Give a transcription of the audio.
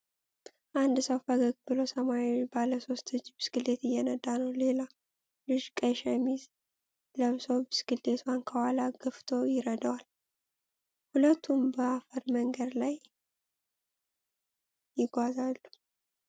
አንድ ሰው ፈገግ ብሎ ሰማያዊ ባለሶስት እጅ ብስክሌት እየነዳ ነው። ሌላ ልጅ ቀይ ሸሚዝ ለብሶ ብስክሌቱን ከኋላ ገፍቶ ይረዳዋል። ሁለቱም በአፈር መንገድ ላይ ይጓዛሉ።